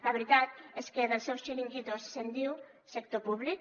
la veritat és que dels seus xiringuitos se’n diu sector públic